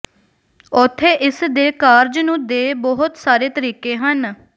ਉੱਥੇ ਇਸ ਦੇ ਕਾਰਜ ਨੂੰ ਦੇ ਬਹੁਤ ਸਾਰੇ ਤਰੀਕੇ ਹਨ